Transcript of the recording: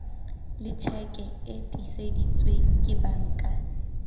tjheke e tiiseditsweng ke banka